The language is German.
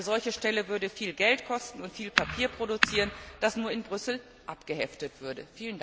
Eine solche Stelle würde viel Geld kosten und viel Papier produzieren, das nur in Brüssel abgeheftet würde.